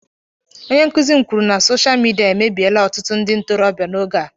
Onye nkuzi m kwuru na sosha midia emebiela ọtụtụ ndị ntorobia n'oge a